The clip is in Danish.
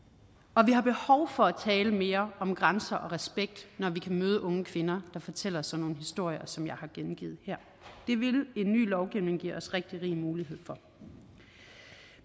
og vi har behov for at tale mere om grænser og respekt når vi kan møde unge kvinder der fortæller sådan nogle historier som jeg har gengivet her det ville en ny lovgivning give os rigtig rig mulighed for